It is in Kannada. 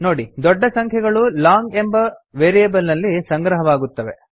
ನೋಡಿ ದೊಡ್ಡ ಸಂಖ್ಯೆಗಳು ಲಾಂಗ್ ಎಂಬ ವೇರಿಯೇಬಲ್ ನಲ್ಲಿ ಸಂಗ್ರಹವಾಗುತ್ತವೆ